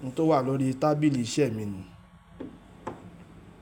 Ohun tó wà lórí tábìlì iṣẹ́ mi nu.